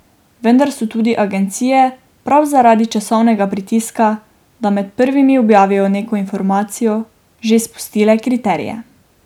Vendar so tudi agencije prav zaradi časovnega pritiska, da med prvimi objavijo neko informacijo, že spustile kriterije.